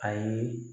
Ayi